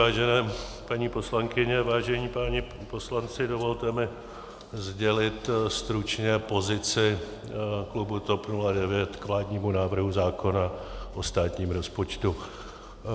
Vážené paní poslankyně, vážení páni poslanci, dovolte mi sdělit stručně pozici klubu TOP 09 k vládnímu návrhu zákona o státním rozpočtu.